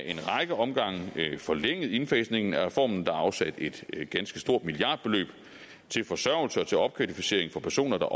en række omgange forlænget indfasningen af reformen der er afsat et ganske stort milliardbeløb til forsørgelse og til opkvalificering for personer der